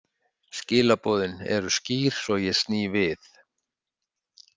Skilaboðin eru skýr svo ég sný við.